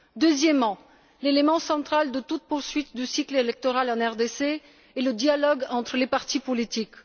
Deuxièmement, l'élément central de toute poursuite du cycle électoral en RDC est le dialogue entre les partis politiques.